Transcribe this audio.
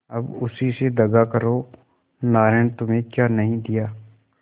अब उसी से दगा करो नारायण ने तुम्हें क्या नहीं दिया